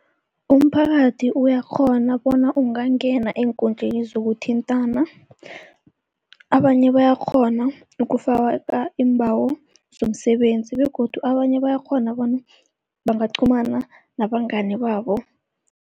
Umphakathi uyakghona bona ungangena eenkundleni zokuthintana. Abanye bayakghona ukufaka iimbawo zomsebenzi begodu abanye bayakghona bona bangaqhumana nabangani babo.